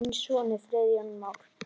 Þinn sonur, Friðjón Már.